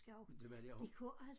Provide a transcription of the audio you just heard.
Men det var de af